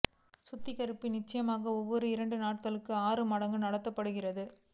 சுத்திகரிப்பு நிச்சயமாக ஒவ்வொரு இரண்டு நாட்கள் ஆறு மடங்கு நடத்தப்படுகிறது